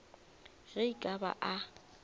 ge e ka ba a